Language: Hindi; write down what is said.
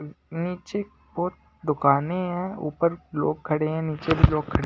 नीचे बहुत दुकानें हैं ऊपर लोग खड़े हैं नीचे भी लोग खड़े--